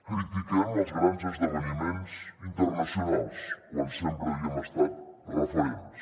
critiquem els grans esdeveniments internacionals quan sempre n’havíem estat referents